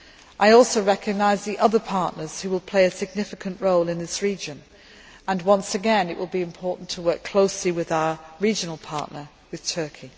I also recognise the other partners who will play a significant role in this region and once again it will be important to work closely with our regional partner, Turkey.